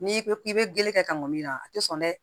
N'i ko k'i bɛ gere kɛ ka mɔn min na a tɛ sɔn dɛ